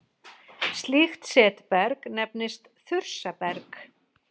Slíkt setberg nefnist þursaberg.